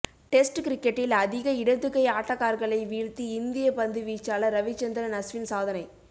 test கிரிக்கெட்டில் அதிக இடது கை ஆட்டக்காரர்களை வீழ்த்தி இந்திய பந்து வீச்சாளர் ரவிச்சந்திரன் அஸ்வின் சாதனை